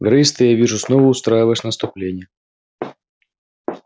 грейс ты я вижу снова устраиваешь наступление